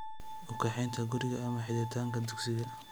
U kaxaynta guriga, ama xidhitaanka dugsiga